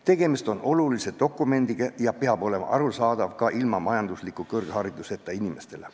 Tegemist on olulise dokumendiga, mis peab olema arusaadav ka majandusliku kõrghariduseta inimestele.